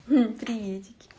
приветики